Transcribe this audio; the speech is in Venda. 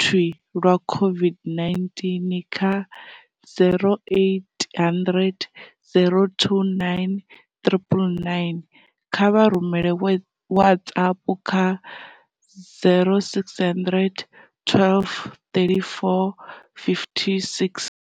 thwii lwa COVID-19 kha 0800 029 999 kana vha rumele WhatsApp kha 0600 12 3456.